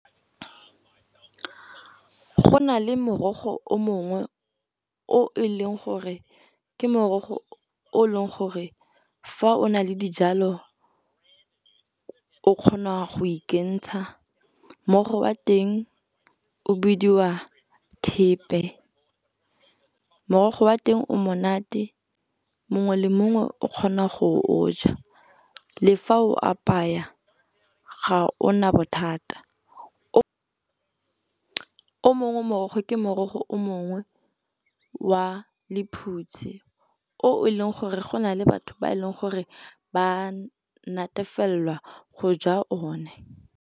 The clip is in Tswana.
Go na le morogo o mongwe o e leng gore gore fa o na le dijalo o kgona go o kentsha, morogo wa teng o bidiwa thepe. Morogo wa teng o monate mongwe le mongwe o kgona go o ja le fa o apaya ga ona bothata. O mongwe morogo ke morogo wa lephutse o e leng gore go na le batho ba e leng gore ba natefelela go ja one.